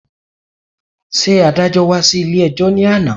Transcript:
Ṣé adájọ́́ wá sí ilé-ẹjọ́ ní àná